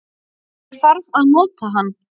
Ég þarf að nota hann